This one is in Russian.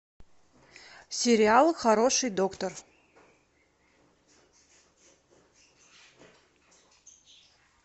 сериал хороший доктор